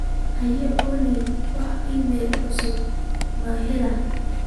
hey olly wax iimayl ah oo cusub ma helay